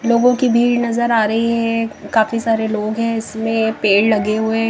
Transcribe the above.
लोगों की भीड़ नजर आ रही है काफी सारे लोग है इसमें पेड़ लगे हुए--